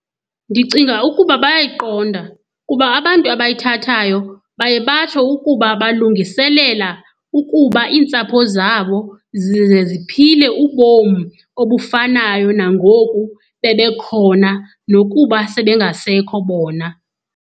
Ndicinga ukuba bayayiqonda kuba abantu abayithathayo baye batsho ukuba balungiselela ukuba iintsapho zabo zize ziphile ubom obufanayo nangoku bebekhona nokuba sebengasekho bona.